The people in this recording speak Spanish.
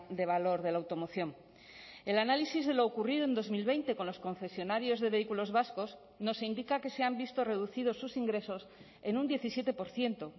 de valor de la automoción el análisis de lo ocurrido en dos mil veinte con los concesionarios de vehículos vascos nos indica que se han visto reducidos sus ingresos en un diecisiete por ciento